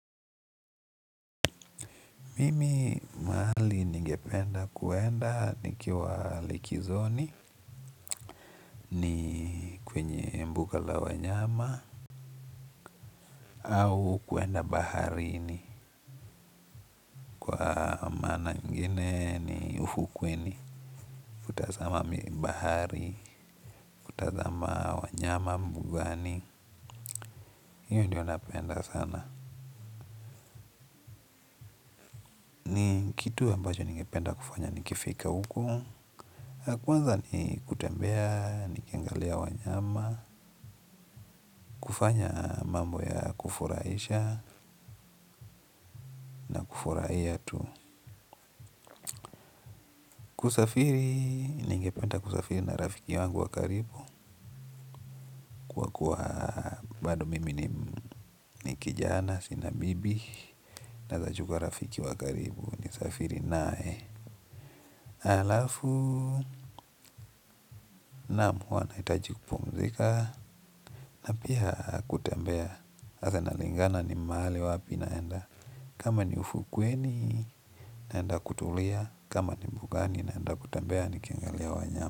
Mimi mahali ningependa kuenda nikiwa likizoni ni kwenye mbuga la wanyama au kuenda baharini kwa maana nyingine ni ufukweni. Kutazama bahari, kutazama wanyama mbugani, hiyo ndiyo napenda sana. Kitu ambacho ningependa kufanya nikifika huko. Kwanza ni kutembea nikiangalia wanyama kufanya mambo ya kufurahisha na kufurahia tu kusafiri, ningependa kusafiri na rafiki yangu wa karibu, kwa kuwa bado mimi ni kijana, sina bibi naeza chukua rafiki wa karibu, ni safiri naye alafu, naam huwa nahitaji kupumzika na pia kutembea, sasa inalingana ni mahali wapi naenda kama ni ufukweni naenda kutulia, kama ni mbugani naenda kutembea nikingalia wanyama.